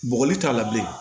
Bɔgɔli t'a la bilen